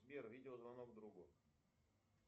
сбер видеозвонок другу